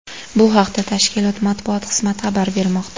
Bu haqda tashkilot matbuot xizmati xabar bermoqda.